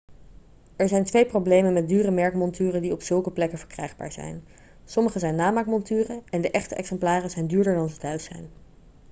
er zijn twee problemen met dure merkmonturen die op zulke plekken verkrijgbaar zijn sommige zijn namaakmonturen en de echte exemplaren zijn duurder dan ze thuis zijn